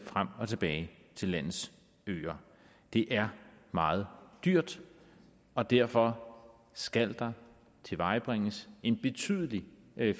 frem og tilbage til landets øer det er meget dyrt og derfor skal der tilvejebringes en betydelig